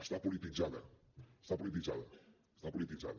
està polititzada està polititzada està polititzada